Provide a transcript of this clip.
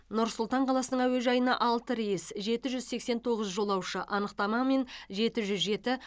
нұр сұлтан қаласының әуежайына алты рейс жеті жүз сексен тоғыз жолаушы анықтамамен жеті жүз жеті